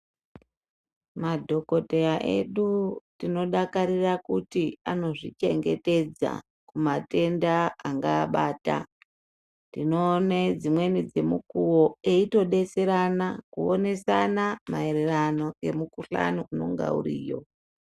Madhokodheya edu tino dakarira kuti anozvi chengetedza kuma tenda angaa abata tino one dzimweni dze mukuwo eyito detserana kuonesana maererano ne mu kuhlani unonga uriyo.